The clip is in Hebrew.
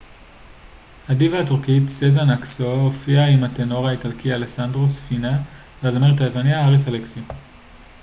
הדיווה הטורקית סזן אקסו הופיעה עם הטנור האיטלקי אלסנדרו ספינה והזמרת היווניה האריס אלכסיו